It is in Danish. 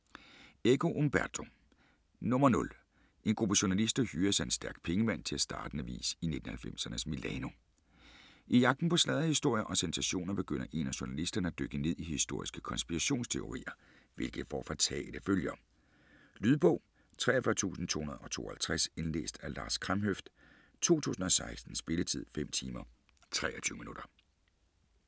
Eco, Umberto: Nr. 0 En gruppe journalister hyres af en stærk pengemand til at starte en avis i 1990'ernes Milano. I jagten på sladderhistorier og sensationer begynder en af journalisterne at dykke ned i historiske konspirationsteorier, hvilket får fatale følger. Lydbog 43252 Indlæst af Lars Kramhøft, 2016. Spilletid: 5 timer, 23 minutter.